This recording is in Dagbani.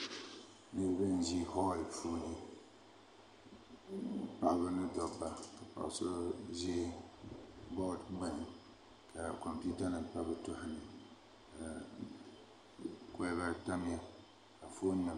Niraba n ʒi holl puuni paɣaba ni dabba paɣa shab ʒi bood gbuni ka kompiuta nim pa bi tooni ka kolba tamya ka foon